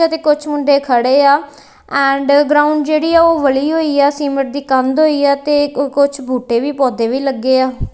ਅਤੇ ਕੁੱਛ ਮੁੰਡੇ ਖੜੇ ਆ ਐਂਡ ਗਰਾਊਂਡ ਜੇਹੜੀ ਆ ਓਹ ਵਲ੍ਹੀ ਹੋਈ ਆ ਸੀਮੇਂਟ ਦੀ ਕੰਧ ਹੋਈ ਆ ਤੇ ਕੂ ਕੁਛ ਬੂਟੇ ਵੀ ਪੌਧੇ ਵੀ ਲੱਗੇ ਹੈ।